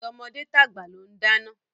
Tọmọdé tàgbà ló ń dáná.